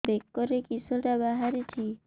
ବେକରେ କିଶଟା ବାହାରିଛି